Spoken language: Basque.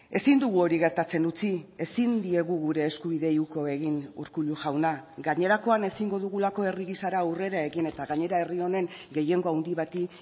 ezin dugu hori gertatzen utzi ezin diegu gure eskubideei uko egin urkullu jauna gainerakoan ezingo dugulako herri gisara aurrera egin eta gainera herri honen gehiengo handi bati